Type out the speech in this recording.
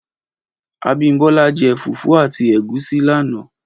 Abimbola jè fúfù àtí égúsì làná